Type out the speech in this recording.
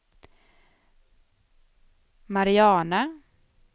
Mariana